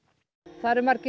það eru margir